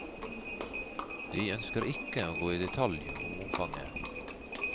De ønsker ikke å gå i detalj om omfanget.